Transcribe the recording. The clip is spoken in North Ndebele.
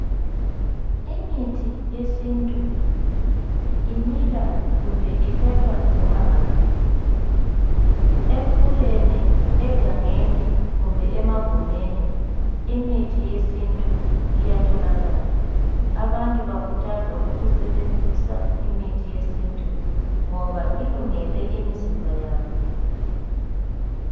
Imithi yesintu imila kumbe ithathwa noma ngaphi. Emfuleni, egangeni kumbe emagumeni imithi yesintu iyatholakala. Abantu bakuthazwa ukusebenzisa imithi yesintu ngoba ilungele imizimba yabo.